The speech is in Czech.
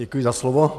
Děkuji za slovo.